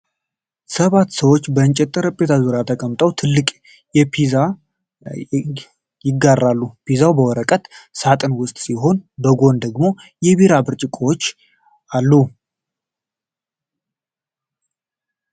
ሰባት ሰዎች በእንጨት ጠረጴዛ ዙሪያ ተቀምጠው ትልቅ ፔፐሮኒ ፒዛ ይጋራሉ። ፒዛው በወረቀት ሳጥን ውስጥ ሲሆን፣ በጎን ደግሞ የቢራ ብርጭቆዎች አሉ።